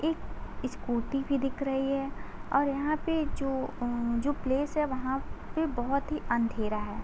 एक स्कूटी भी दिख रही है और यहां पे जो अं जो प्लेस है वहां पे बोहोत ही अंधेरा है।